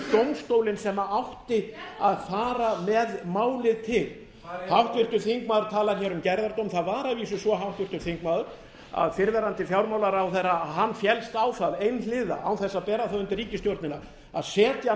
dómstólinn sem átti að fara með málið til háttvirtur þingmaður talaði hér um gerðardóm það var að vísu svo háttvirtur þingmaður að fyrrverandi fjármálaráðherra féllst á það einhliða án þess að bera það undir ríkisstjórnina að setja